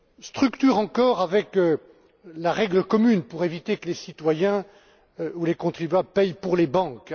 Structure, encore, avec la règle commune, pour éviter que les citoyens ou les contribuables ne paient pour les banques